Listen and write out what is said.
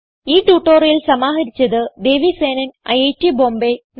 ഈ ട്യൂട്ടോറിയൽ സമാഹരിച്ചത് ദേവി സേനൻ ഐറ്റ് ബോംബേ